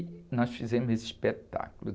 E nós fizemos esse espetáculo.